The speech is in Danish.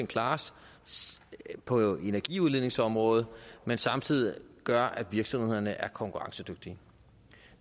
class på energiudledningsområdet og samtidig gør at virksomhederne er konkurrencedygtige